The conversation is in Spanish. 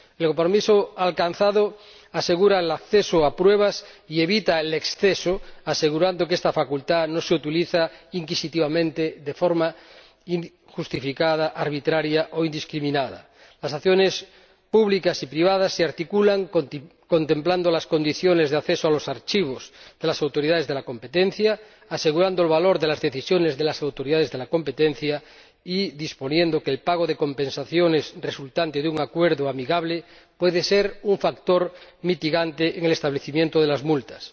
El compromiso alcanzado asegura el acceso a pruebas y evita el exceso, asegurando que esta facultad no se utiliza inquisitivamente de forma injustificada, arbitraria o indiscriminada. Las acciones públicas y privadas se articulan contemplando las condiciones de acceso a los archivos de las autoridades de la competencia, asegurando el valor de las decisiones de las autoridades de la competencia y disponiendo que el pago de compensaciones resultante de un acuerdo amistoso pueda ser un factor mitigador en el establecimiento de las multas.